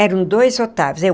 eram dois Otávio.